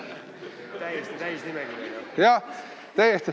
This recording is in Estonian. Palun andke saalis märku!